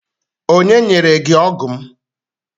Onye nyere gị ọgụ m?